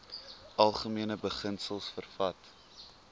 algemene beginsels vervat